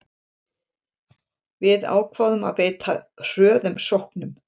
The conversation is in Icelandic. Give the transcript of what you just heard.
Við ákváðum að beita hröðum sóknum